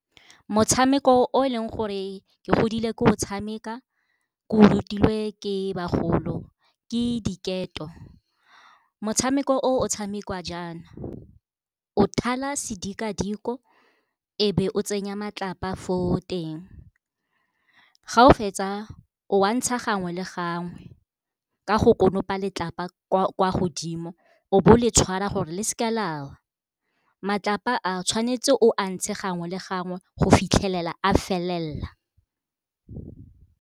Motshameko o e leng gore ke godile ke o tshameka ke o rutilwe ke bagolo ke diketo. Motshameko o o tshamekiwa jaana, o thala sedikadiko e be o tsenya matlapa fo teng ga o fetsa o a ntsha gangwe le gangwe ka go konopa letlapa kwa godimo, o bo o le tshwara gore le seka lawa, matlapa a tshwanetse o a ntshe gangwe le gangwe go fitlhelela a felelela.